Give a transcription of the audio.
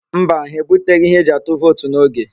Mba, ha ebuteghị ihe eji atụ vootu n'oge.